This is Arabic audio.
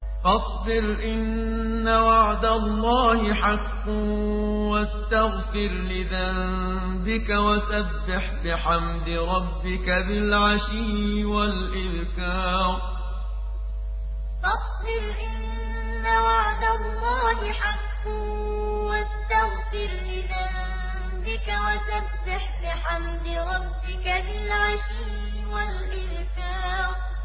فَاصْبِرْ إِنَّ وَعْدَ اللَّهِ حَقٌّ وَاسْتَغْفِرْ لِذَنبِكَ وَسَبِّحْ بِحَمْدِ رَبِّكَ بِالْعَشِيِّ وَالْإِبْكَارِ فَاصْبِرْ إِنَّ وَعْدَ اللَّهِ حَقٌّ وَاسْتَغْفِرْ لِذَنبِكَ وَسَبِّحْ بِحَمْدِ رَبِّكَ بِالْعَشِيِّ وَالْإِبْكَارِ